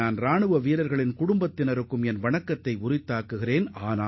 நமது வீரர்களின் குடும்பத்தினரையும் நான் வணங்குகிறேன்